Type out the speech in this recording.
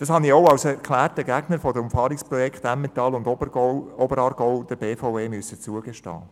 Das musste ich auch als erklärter Gegner des Umfahrungsprojekts im Oberaargau der BVE zugestehen.